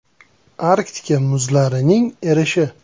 Arktika muzlarining erishi.